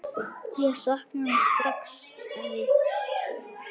Ég sakna þín strax, afi.